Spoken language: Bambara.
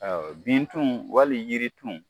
Bintun wali jiritun